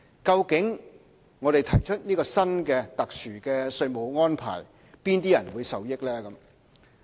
究竟我們提出這個新的、特殊的稅務安排，哪些人會受益呢？